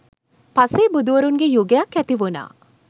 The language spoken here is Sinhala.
පසේබුදුවරුන්ගේ යුගයක් ඇතිවුණා.